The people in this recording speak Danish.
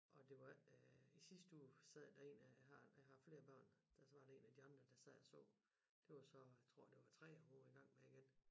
Og det var øh i sidste uge sad der én af jeg har jeg har flere børn der var én af de andre der sad og så det var så jeg tror det var 3'eren hun var i gang med igen